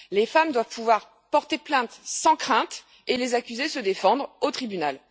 Les femmes doivent pouvoir porter plainte sans crainte et les accusés se défendre au tribunal.